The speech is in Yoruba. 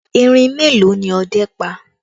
Erin mélòó ni ọdẹ́ pa?